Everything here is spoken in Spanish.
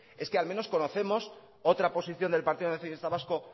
es que al menos conocemos otra posición del partido nacionalista vasco